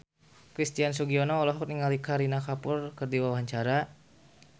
Christian Sugiono olohok ningali Kareena Kapoor keur diwawancara